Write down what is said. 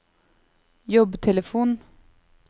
jobbtelefon